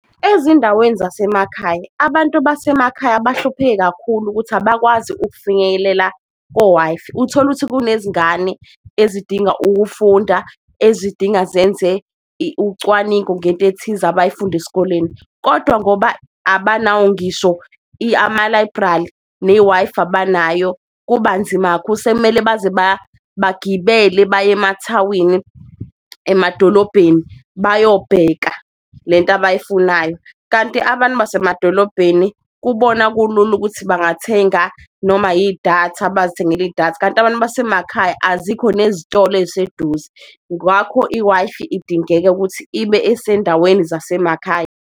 Ezindaweni zasemakhaya abantu basemakhaya bahlupheke kakhulu ukuthi abakwazi ukufinyelela ko-Wi-Fi, utholukuthi kunezingane ezidinga ukufunda ezidinga zenze ucwaningo ngento ethize abayifunde esikoleni, kodwa ngoba abanawo ngisho ama-library ne-Wi-Fi abanayo, kubanzima kakhulu. Sekumele baze bagibele baye emathawini, emadolobheni, bayobheka lento abayifunayo, kanti abantu basemadolobheni kubona kulula ukuthi bangathenga noma yidatha bazithengele idatha, kanti abantu basemakhaya azikho nezitolo ey'seduze. Ngwakho i-Wi-Fi idingeka ukuthi ibe esendaweni zasemakhaya.